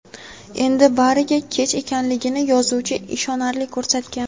endi bariga kech ekanligini yozuvchi ishonarli ko‘rsatgan.